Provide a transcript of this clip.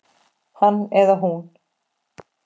Hann eða hún